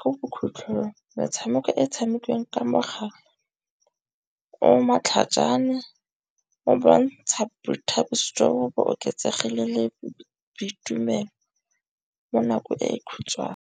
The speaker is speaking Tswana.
ko bokhutlhong metshameko e tshamekiwang ka mogala o matlhajana o bontsha boithabiso jo bo oketsegileng le boitumelo mo nakong e khutshwane.